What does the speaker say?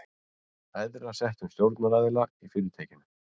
æðra settum stjórnaraðila í fyrirtækinu.